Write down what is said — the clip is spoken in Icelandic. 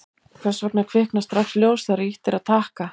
hvers vegna kviknar strax ljós þegar ýtt er á takka